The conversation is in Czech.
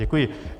Děkuji.